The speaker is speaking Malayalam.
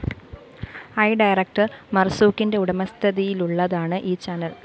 ഐ ഡയറക്ടർ മര്‍സൂഖിന്റെ ഉടമസ്ഥതിയിലുള്ളതാണ് ഈ ചാനൽ